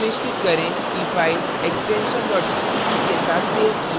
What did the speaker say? सुनिश्चित करें कि file extension cpp के साथ सेव की है